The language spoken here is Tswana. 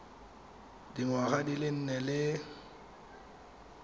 dingwaga di le nne le